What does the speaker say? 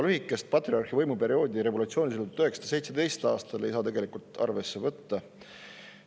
Lühikest patriarhi võimuperioodi revolutsioonilisel 1917. aastal ei saa tegelikult arvesse võtta.